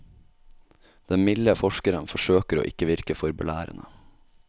Den milde forskeren forsøker å ikke virke for belærende.